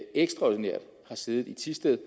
ekstraordinært har siddet i thisted